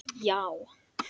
Já